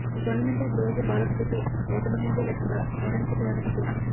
ఈ టోర్నమెంట్లో ఇప్పటివరకు భారత్ జట్టు ఓటమనేదే లేకుండా ఫైనల్కు చేరడం విశేషం